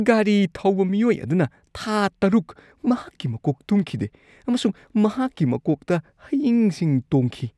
ꯒꯥꯔꯤ ꯊꯧꯕ ꯃꯤꯑꯣꯏ ꯑꯗꯨꯅ ꯊꯥ ꯇꯔꯨꯛ ꯃꯍꯥꯛꯀꯤ ꯃꯀꯣꯛ ꯇꯨꯝꯈꯤꯗꯦ ꯑꯃꯁꯨꯡ ꯃꯍꯥꯛꯀꯤ ꯃꯀꯣꯛꯇ ꯍꯌꯤꯡꯁꯤꯡ ꯇꯣꯡꯈꯤ꯫